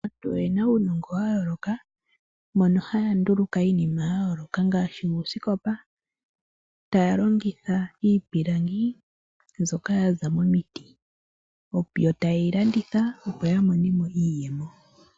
Aantu oyena uunongo wa yooloka mono haya nduluka iinima ya yooloka ngaashi uusikopa, taya longitha iipilangi mbyoka yaza momiti, yo ta yeyi landitha opo ya mone mo iiyemo.